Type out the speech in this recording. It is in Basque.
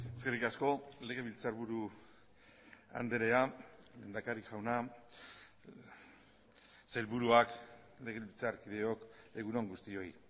eskerrik asko legebiltzarburu andrea lehendakari jauna sailburuak legebiltzarkideok egun on guztioi